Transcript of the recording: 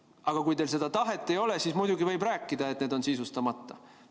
Aga kui teil seda tahet ei ole, siis muidugi võib rääkida, et need on sisustamata.